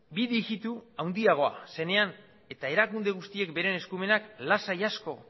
bi digitu handiagoa zenean eta erakunde guztiek beren eskumenak lasai asko